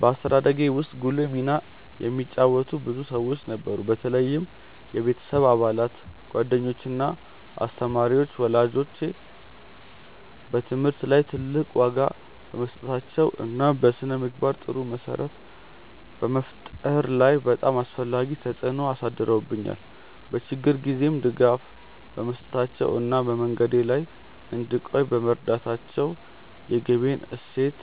በአስተዳደጌ ውስጥ ጉልህ ሚና የተጫወቱ ብዙ ሰዎች ነበሩ፣ በተለይም የቤተሰብ አባላት፣ ጓደኞች እና አስተማሪዎች። ወላጆቼ በትምህርት ላይ ትልቅ ዋጋ በመስጠታቸው እና በስነ-ምግባር ጥሩ መሰረት በመፍጠር ላይ በጣም አስፈላጊ ተጽዕኖ አሳድረውብኛል፤ በችግር ጊዜም ድጋፍ በመስጠታቸው እና በመንገዴ ላይ እንድቆይ በመርዳታቸው የግቤን እሴት